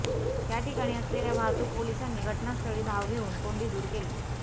त्या ठिकाणी असलेल्या वाहतूक पोलिसांनी घटनास्थळी धाव घेऊन कोंडी दूर केली